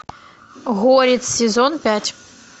горец сезон пять